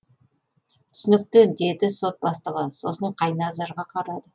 түсінікті деді сот бастығы сосын қайназарға қарады